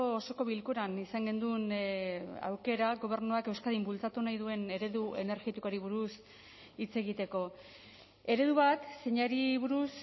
osoko bilkuran izan genuen aukera gobernuak euskadin bultzatu nahi duen eredu energetikoari buruz hitz egiteko eredu bat zeinari buruz